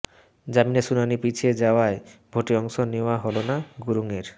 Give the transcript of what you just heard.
জামিনের শুনানি পিছিয়ে যাওয়ায় ভোটে অংশ নেওয়া হল না গুরুংয়ের